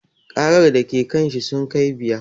Ƙarar da ke kanshi sun kai biyar